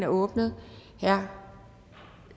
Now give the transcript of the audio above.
åbnet herre